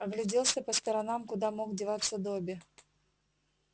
огляделся по сторонам куда мог деваться добби